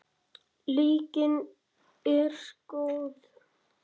Lygin er góð.